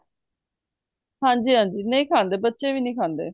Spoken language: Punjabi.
ਹਾਂਜੀ ਹਾਂਜੀ ਨਹੀਂ ਖਾਂਦੇ ਬੱਚੇ ਵੀ ਨਹੀਂ ਖਾਂਦੇ